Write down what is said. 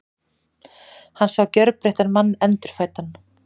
Hann sá gjörbreyttan mann, endurfæddan.